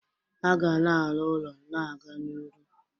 A ga na-aru ụlọ na-aga n'iru.